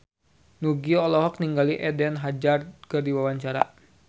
Nugie olohok ningali Eden Hazard keur diwawancara